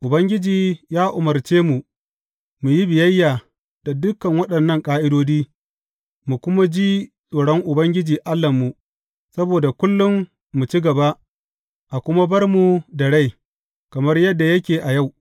Ubangiji ya umarce mu mu yi biyayya da dukan waɗannan ƙa’idodi, mu kuma ji tsoron Ubangiji Allahnmu, saboda kullum mu ci gaba, a kuma bar mu da rai, kamar yadda yake a yau.